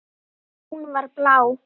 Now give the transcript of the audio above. Hún var blá.